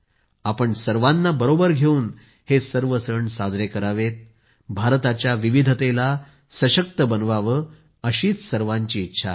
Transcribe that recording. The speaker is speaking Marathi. आपण सर्वांना बरोबर घेवून हे सर्व सण साजरे करावेत भारताच्या विविधतेला सशक्त बनवावे अशीच सर्वांची इच्छा आहे